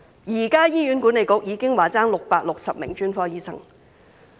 醫管局現已表示欠缺660名專科醫生。